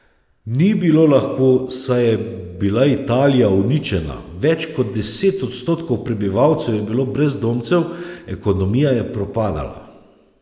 Ni bilo lahko, saj je bila Italija uničena, več kot deset odstotkov prebivalcev je bilo brezdomcev, ekonomija je propadala.